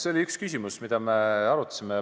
See oli üks küsimus, mida me arutasime.